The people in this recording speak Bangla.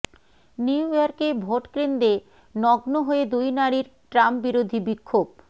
নিউ ইয়র্কে ভোটকেন্দ্রে নগ্ন হয়ে দুই নারীর ট্রাম্পবিরোধী বিক্ষোভ